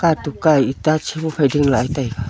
katukka eta chihu phai ching lah taiga.